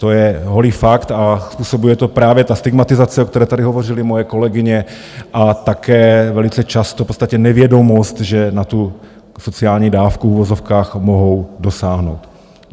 To je holý fakt a způsobuje to právě ta stigmatizace, o které tady hovořily moje kolegyně, a také velice často v podstatě nevědomost, že na tu sociální dávku v uvozovkách mohou dosáhnout.